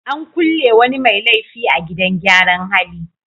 An kulle wani mai laifi a gidan gyaran hali.